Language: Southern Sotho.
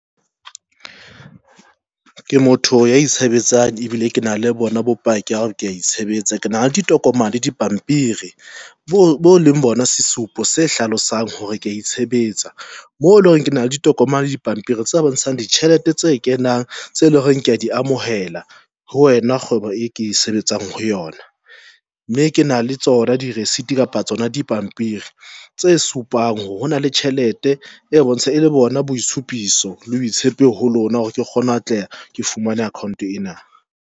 Ke motho ya itshebetsang ebile ke na le bona bopaki ke a itshebetsa ke na le ditokomane le dipampiri bo leng bona sesupo se hlalosang hore ke ya itshebetsa mo eleng hore ke na le ditokomane le dipampiri tse bontshang ditjhelete tse kenang, tse leng hore ke di amohela ho wena kgwebo e ke sebetsang ho yona, mme ke na le tsona di-receipt kapa tsona dipampiri tse supang hore hona le tjhelete e bontsha e le bona boitshupiso le boitshepi ho lona hore ke kgone ho atleha. Ke fumane account ena.